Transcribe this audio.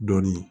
Dɔɔnin